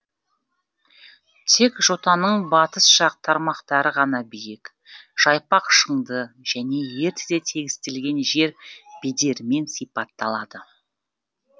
тек жотаның батыс жақ тармақтары ғана биік жайпақ шыңды және ертеде тегістелген жер бедерімен сипатталады